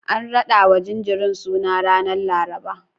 An raɗawa jinjirin suna ranar Laraba.